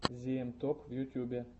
зиэм топ в ютюбе